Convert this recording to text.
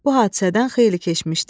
Bu hadisədən xeyli keçmişdi.